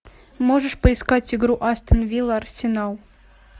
можешь поискать игру астон вилла арсенал